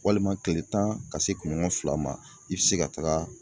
Walima kile tan ka se kunɲɔgɔn fila ma i bɛ se ka taga